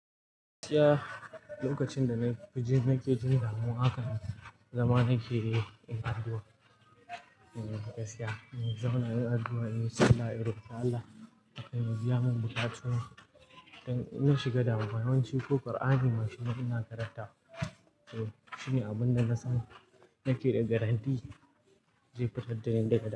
Lokacin da na ke jin damuwa haka, zaman na ke yi addu'a. Gaskiya, zaman na yi addu'a, "Allah ya rubata Allah ya mu biya mun bukatun mu." Idan na shiga damuwa, yawanci ko Kur'ani mashin na ina karanta. Shini abunda na san nake da guarantee zai fitar da ni daga.